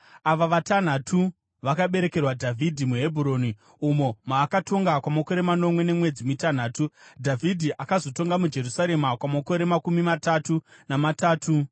Ava vatanhatu vakaberekerwa Dhavhidhi muHebhuroni umo maakatonga kwamakore manomwe nemwedzi mitanhatu. Dhavhidhi akazotonga muJerusarema kwamakore makumi matatu namatatu